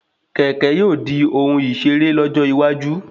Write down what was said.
Kẹ̀kẹ́ yóò dí òhun isere lọ́jọ́ iwájú